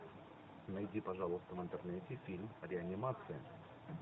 найди пожалуйста в интернете фильм реанимация